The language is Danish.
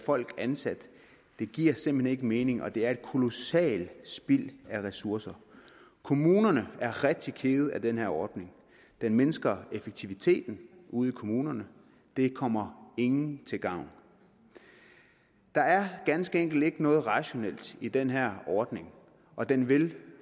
folk ansat det giver simpelt hen ikke mening og det er et kolossalt spild af ressourcer kommunerne er rigtig kede af den her ordning den mindsker effektiviteten ude i kommunerne det kommer ingen til gavn der er ganske enkelt ikke noget rationelt i den her ordning og den vil